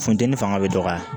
Funteni fanga be dɔgɔya